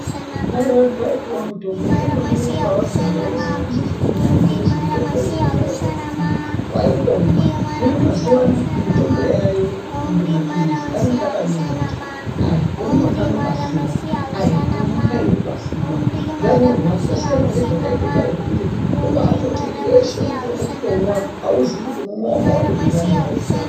Kare vantu vaipiwa mutombo veingomwira pavadira asi zvisizi kunonyorwa kuzi mutombo uyu unomwiwa zvakadini. Waingomwa. Hino mazuwa anaya mitombo yaayo kunyange mapilizi anenge akanyorwa kuti aya unomwa kamwe pazuwa, aya unomwe kairi pazuwa .Zvanorwa zvasiyana nezvataita kare kuti kubatoti weshe mutombo kwakutomwa .Auzii kuti unomwa wakawande zvakadini.